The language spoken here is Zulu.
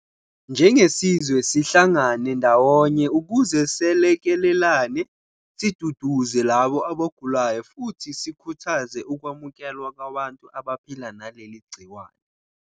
Njengesizwe sihlangane ndawonye ukuze selekelelane, siduduze labo abagulayo futhi sikhuthaze ukwamukelwa kwabantu abaphila naleli gciwane.